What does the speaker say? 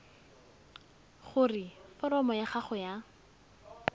gore foromo ya gago ya